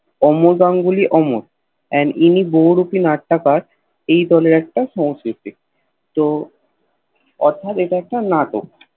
অমর Ganguly Amar and ইনি বহুরূপী নাট্যকার এই দলের একটা সংস্কৃতি তো অর্থ্যাৎ এইটা একটা নাটক